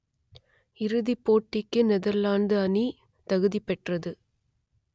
இறுதிப் போட்டிக்கு நெதர்லாந்து அணி தகுதி பெற்றது